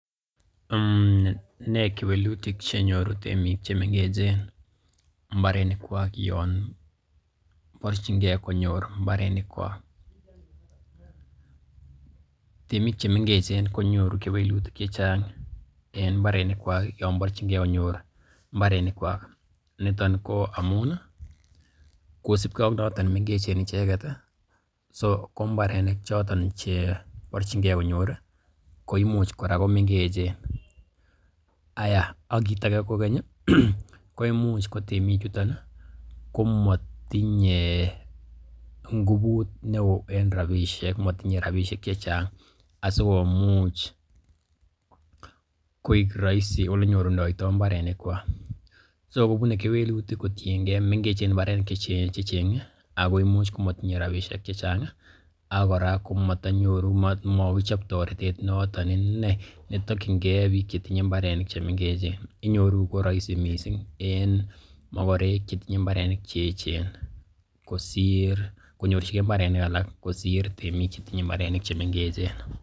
Nee kewelutik chenyoru temik chemengechen mbarenikwak yon borchingei konyor mbarenikwak? Temik che mengechen ko nyoru kewelutik che chang en mbarenikwak yon borchinge konyor mbarenikwak niton ko amun kosibge ak noton mengechen ichek, so ko mbarenik choton che borchinge konyor koimuch kora komengechen, aiyah ak kiit age kogeny, koimuch ko temik chuton komotinye ngubut neo en rabishek, motinye rabishek che chang asikomuch koik rahisi ole nyorundo mbarenikwak. So kobune kewelutik kotienge mengechen mbarenik che cheng'e ago imuch komatinye rabinik che chang ak kora komatanyoru, mokichob toretet noton iney netokinge biik che tinye mbarenik che mengechen inyoru ko rahisi mising en mokorek che tinye mbarenik che eechen konyorchige mbarenik alak kosir temik che tinye mbarenik che mengechen.